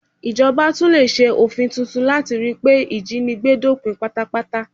Ìjọba tún lè ṣe òfin tuntun láti ríi pé ìjínigbé dópin pátápátá